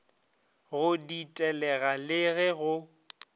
go ditelega le ge go